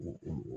U